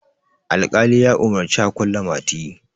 alƙali ya umarci a kulle mati